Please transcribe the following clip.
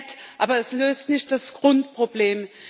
Das ist nett, aber es löst nicht das Grundproblem.